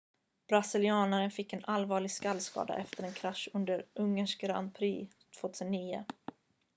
brasilianen fick en allvarlig skallskada efter en krasch under ungerns grand prix 2009